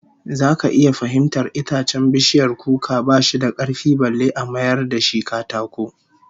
Zaka iya fahimtar itacen bishiyar kuka ba shi da karfi balle a mayar da shi katako